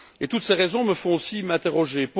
Toutes ces raisons me font aussi m'interroger.